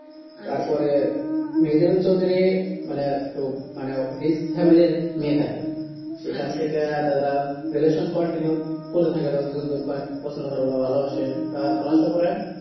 তার পরে মেহেজাবিন চৌধুরী মানে একটু মানে risk family র মেয়ে থাকে সেখান থেকা তারাও relation continue করে থাকে তারা দুজন দুজনকে অনেক পছন্দ করে ওরা ভালো বাসেতা